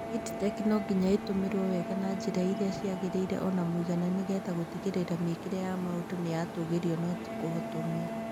EdTech no ngĩnya ĩtũmĩrwo wega na njira irĩa cĩagĩrĩĩre ona mũĩgana nĩ getha gũtĩgĩrĩĩra mĩĩkire ya maũndu ni ya tũgĩrĩo no tĩ kũhotomĩo.